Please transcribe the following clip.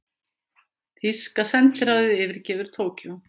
Þýska sendiráðið yfirgefur Tókýó